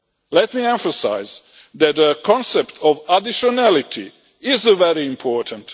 Let me emphasise that the concept of additionality is very important.